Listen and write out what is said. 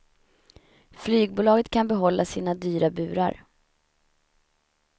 Flygbolaget kan behålla sina dyra burar.